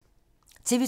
TV 2